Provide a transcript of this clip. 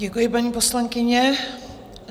Děkuji, paní poslankyně.